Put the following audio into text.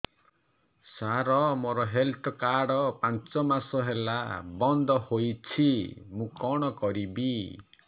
ସାର ମୋର health card ପାଞ୍ଚ ମାସ ହେଲା ବଂଦ ହୋଇଛି ମୁଁ କଣ କରିବି